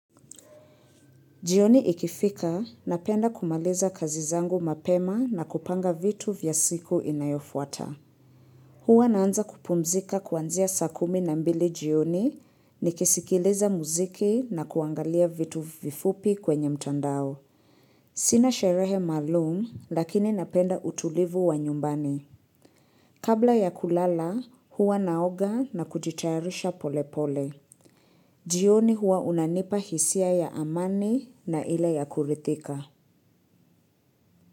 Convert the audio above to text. Jioni ikifika, napenda kumaliza kazi zangu mapema na kupanga vitu vya siku inayofuata. Huwa naanza kupumzika kuanzia saa kumi na mbili jioni, nikisikiliza muziki na kuangalia vitu vifupi kwenye mtandao. Sina sherehe maalumu, lakini napenda utulivu wa nyumbani. Kabla ya kulala, huwa naoga na kujitayarisha polepole. Jioni huwa unanipa hisia ya amani na ile ya kuridhika.